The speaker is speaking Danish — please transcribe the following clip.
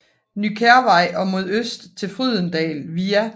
Ny Kærvej og mod øst til Frydendal via